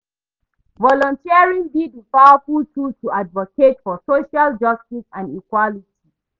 volunteering be di powerful tool to advocate for social justice and equality.